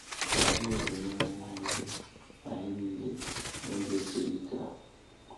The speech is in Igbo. Ka Chineke nyere anyị niile anyị niile n’oge siri ike a.